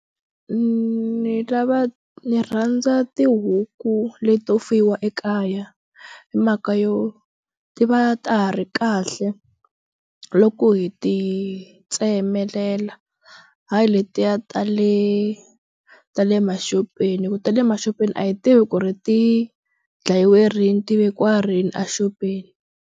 Ndzi ndzi lava ni rhandza tihuku leti to fuyiwa ekaya hi mhaka yo ti va ta ha ri kahle loko hi ti tsemelela hayi letiya ta le ta le maxopeni hi ku ta le maxopeni a hi tivi ku ri ti dlayiwe rini ti vekiwa rini a xopeni.